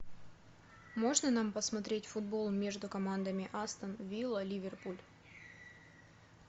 можно нам посмотреть футбол между командами астон вилла ливерпуль